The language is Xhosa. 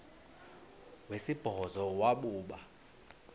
wesibhozo wabhu bha